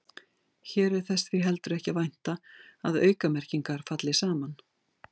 Hér er þess því ekki heldur að vænta að aukamerkingar falli saman.